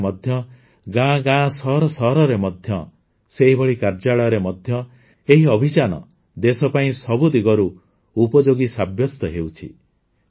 ସମାଜରେ ମଧ୍ୟ ଗାଁ ଗାଁ ସହର ସହରରେ ମଧ୍ୟ ସେହିଭଳି କାର୍ଯ୍ୟାଳୟରେ ମଧ୍ୟ ଏହି ଅଭିଯାନ ଦେଶ ପାଇଁ ସବୁ ଦିଗରୁ ଉପଯୋଗୀ ସାବ୍ୟସ୍ତ ହେଉଛି